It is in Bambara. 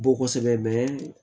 Bɔ kosɛbɛ